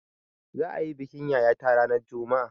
Za'a yi bikin yayata ranar juma'a.